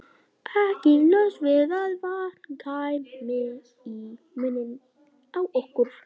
Ekki laust við að vatn kæmi í munninn á okkur.